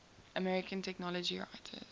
american technology writers